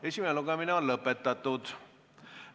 Esimene lugemine on lõpetatud.